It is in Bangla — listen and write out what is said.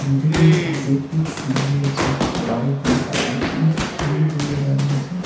নদীটির পাশে একটি বাড়ি আছে বাড়িটির পাশে একটি নীল রঙের বাড়ি আসে ।